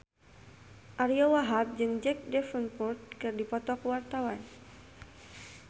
Ariyo Wahab jeung Jack Davenport keur dipoto ku wartawan